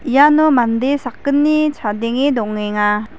iano mande sakgni chadenge dongenga.